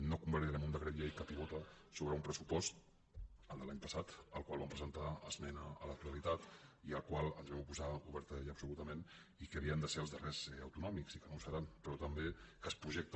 no convalida·rem un decret llei que pivota sobre un pressupost el de l’any passat al qual vam presentar esmena a la to·talitat i al qual ens vam oposar obertament i absoluta·ment i que havien de ser el darrer autonòmic i que no ho serà però també que es projecta